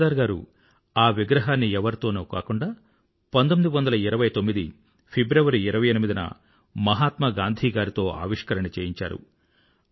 సర్దార్ గారు ఆ విగ్రహాన్ని ఎవరితోనో కాకుండా 1929 ఫిబ్రవరి 28న మహాత్మా గాంధీ గారితో చేయించారు